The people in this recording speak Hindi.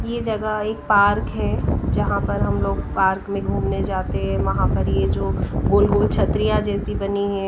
ये जगह एक पार्क है जहां पर हम लोग पार्क में घूमने जाते हैं वहां पर ये जो गोल गोल छत्रियां जैसी बनी है।